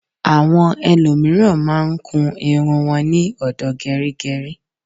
Àwọn ẹlòmíràn máa ń kun irun wọn ní ọ̀dọ̀ gẹrígẹrí.